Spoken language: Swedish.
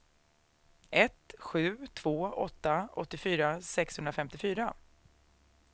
ett sju två åtta åttiofyra sexhundrafemtiofyra